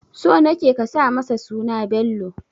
So nake ka sa masa suna Bello